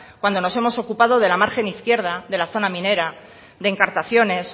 cuando nos hemos ocupado de la margen izquierda de la zona minera de encartaciones